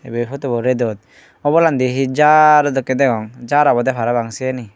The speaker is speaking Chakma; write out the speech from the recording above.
ibey photobo redot obolandi hi jar dokkey degong jar obodey parapang siani.